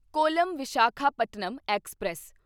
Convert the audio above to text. column Visakhapatnam express